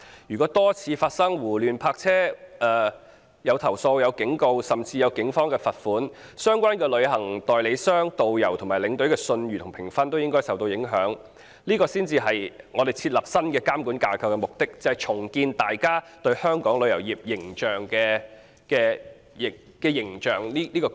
如果多次發生胡亂泊車，遭到投訴、警告甚至被警方罰款，相關的旅行代理商、導遊和領隊的信譽和評分都應該因此受到影響，這才是設立新監管架構的目的：重建大家對香港旅遊業的良好印象。